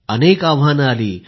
अनेक आव्हाने आली